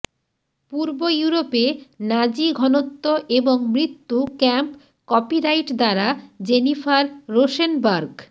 পূর্ব ইউরোপে নাজি ঘনত্ব এবং মৃত্যু ক্যাম্প কপিরাইট দ্বারা জেনিফার রোসেনবার্গ